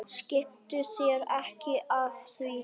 Skiptu þér ekki af því.